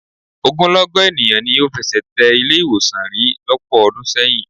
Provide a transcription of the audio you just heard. Ogunlọ́gọ̀ ènìyàn ni ò fẹsẹ̀ tẹ ilé-ìwọ̀sàn rí lọ́pọ̀ ọdún sẹ́yìn.